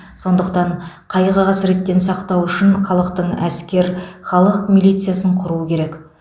сондықтан қайғы қасіреттен сақтау үшін халықтық әскер халық милициясын құру керек